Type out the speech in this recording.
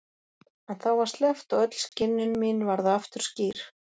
En þá var sleppt og öll skynjun mín varð aftur skýr.